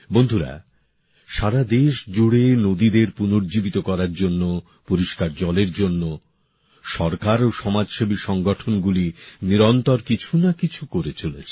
বন্ধুরা সারা দেশ জুড়ে নদীদের পুনর্জীবিত করার জন্য পরিষ্কার জলের জন্য সরকার ও সমাজসেবী সংগঠনগুলি নিরন্তর কিছু না কিছু করে চলেছে